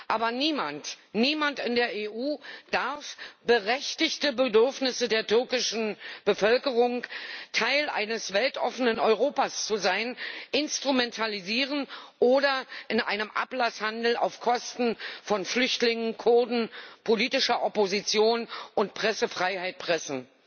Aber niemand in der EU darf berechtigte Bedürfnisse der türkischen Bevölkerung, Teil eines weltoffenen Europas zu sein, instrumentalisieren oder in einen Ablasshandel auf Kosten von Flüchtlingen, Kurden, politischer Opposition und Pressefreiheit pressen.